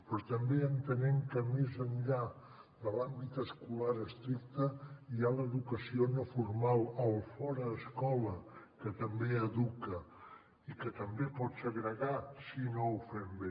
però també entenent que més enllà de l’àmbit escolar estricte hi ha l’educació no formal el fora escola que també educa i que també pot segregar si no ho fem bé